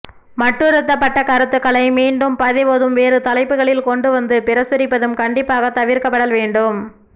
மட்டுறுத்தப்பட்ட கருத்துகளை மீண்டும் பதிவதும் வேறு தலைப்புகளில் கொண்டுவந்து பிரசுரிப்பதும் கண்டிப்பாக தவிர்க்கப்படல் வேண்டும்